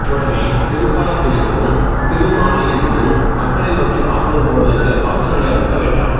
உடனே திருப்பலாண்டிளிருந்தும் திருமாளையிளிருந்தும் மக்களை நோக்கி பாடுவது போலுள்ள சில பாசுரங்களை அடுக்க வேண்டாம்